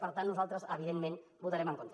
per tant nosaltres evidentment hi votarem en contra